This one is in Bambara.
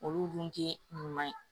Olu dun tɛ ɲuman ye